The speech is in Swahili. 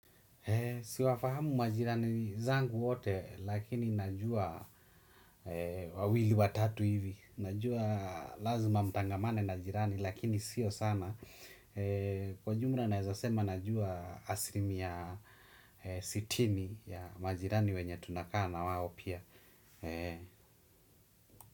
Si wafahamu majirani zangu wote lakini najua wawili, watatu hivi. Najua lazima nitangamane na jirani lakini sio sana. Kwa jumla naweza sema najua asilimia sitini ya majirani wenye tunakaa nao pia.